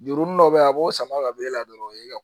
Jurunin dɔ be ye a b'o sama ka bɔ e la dɔrɔn